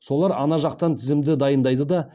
солар ана жақтан тізімді дайындайды да